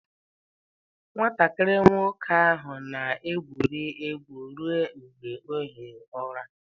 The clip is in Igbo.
Nwatakịrị nwoke ahụ na-egwuri egwu ruo mgbe ọ hie ụra.